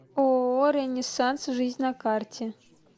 ооо ренессанс жизнь на карте